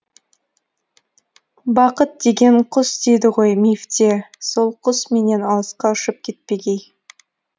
бақыт деген құс дейді ғой мифте сол құс менен алысқа ұшып кетпегей